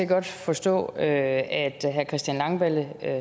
godt forstå at herre christian langballe